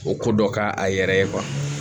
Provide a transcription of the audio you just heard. O ko dɔ k'a yɛrɛ ye